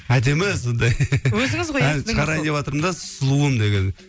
әдемі сондай ән шығарайын деватырмын да сұлуым деген